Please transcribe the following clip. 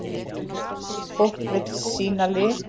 Fólk vill sýna lit.